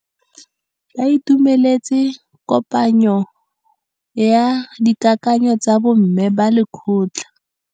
Ba itumeletse kôpanyo ya dikakanyô tsa bo mme ba lekgotla.